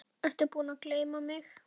Ertu búinn að gleyma mig?